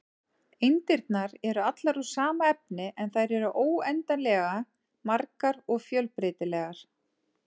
Eindirnar eru allar úr sama efni, en þær eru óendanlega margar og fjölbreytilegar.